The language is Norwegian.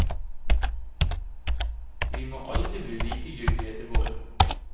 Vi må aldri bli likegyldige til vold.